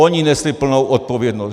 Oni nesli plnou odpovědnost.